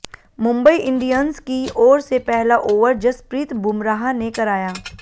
Mumbai Indians की ओर से पहला ओवर जसप्रीत बुमराह ने कराया